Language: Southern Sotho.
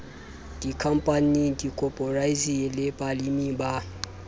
dikhampaning dikoporasing le baleming ba